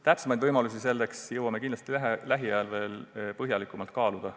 Täpsemaid võimalusi jõuame kindlasti lähiajal põhjalikumalt kaaluda.